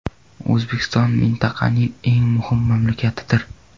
O‘zbekiston mintaqaning eng muhim mamlakatidir.